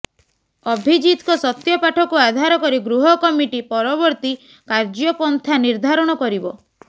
ଅଭିଜିତଙ୍କ ସତ୍ୟପାଠକୁ ଆଧାର କରି ଗୃହ କମିଟି ପରବର୍ତ୍ତୀ କାର୍ଯ୍ଯପନ୍ଥା ନିର୍ଦ୍ଧାରଣ କରିବ